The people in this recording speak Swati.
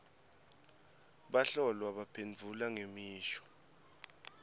bahlolwa baphendvula ngemisho